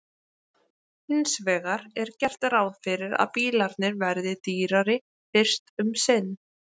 Hins vegar er gert ráð fyrir að bílarnir verði dýrari fyrst um sinn.